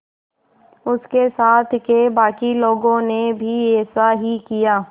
उसके साथ के बाकी लोगों ने भी ऐसा ही किया